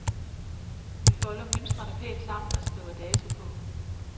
Vi folder mønstrene pænt sammen og skriver dato på.